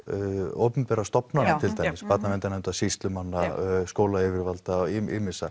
opinberra stofnanna til dæmis Barnaverndarnefndar sýslumanna skólayfirvalda og ýmissa